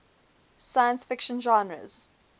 science fiction genres